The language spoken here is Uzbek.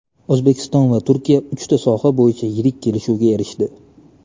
O‘zbekiston va Turkiya uchta soha bo‘yicha yirik kelishuvga erishdi.